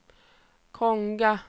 Konga